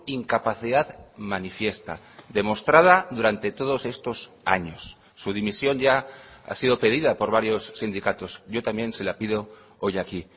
incapacidad manifiesta demostrada durante todos estos años su dimisión ya ha sido pedida por varios sindicatos yo también se la pido hoy aquí